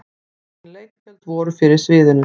Engin leiktjöld voru fyrir sviðinu.